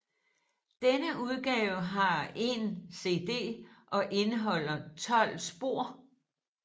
Denne udgave har én CD og indeholder 12 spor